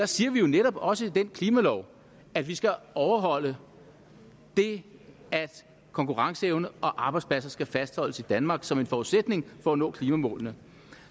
siger netop også i den klimalov at vi skal overholde det at konkurrenceevne og arbejdspladser skal fastholdes i danmark som en forudsætning for at nå klimamålene